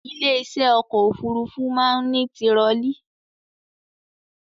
Ilé iṣẹ́ ọkọ̀ òfurufú máa ń ní tirọlí